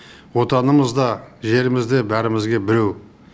отанымыз да жеріміз де бәрімізге біреу